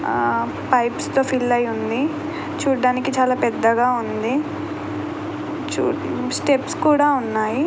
Pipes తో fill అయి ఉంది. చూడడానికి చాలా పెద్దగా ఉంది. స్టెప్స్ కూడా ఉన్నాయి.